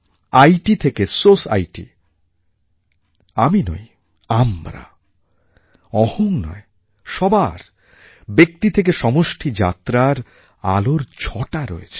I T থেকে society আমি নই আমরা অহং নয় সবার ব্যক্তি থেকে সমষ্টি যাত্রার আলোর ছটা রয়েছে